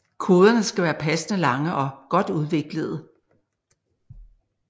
Koderne skal være passende lange og godt udviklede